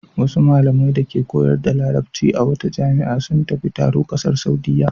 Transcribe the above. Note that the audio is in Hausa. Wasu malamai dake koyar da Larabci a wata jami'a sun tafi taro ƙasar Saudiyya.